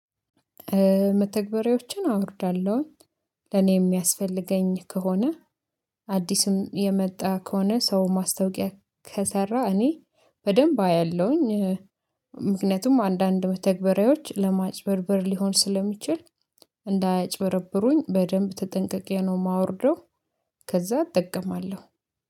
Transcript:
መተግበሬዎችን አወርዳለሁኝ ለኔ የሚያስፈልገኝ ከሆነ አዲስም የመጣ ከሆነ ሰው ማስታወቂያ ከሰራ እኔ በደንብ አያለሁኝ። ምክንያቱም አንዳንድ መተግባሬዎች ለማጭበርበር ሊሆን ስለሚችል እንዳያጭበረብሩኝ በደንብ ተጠንቀቄ ነው የማወርደው። ከዛ እጠቀማለሁ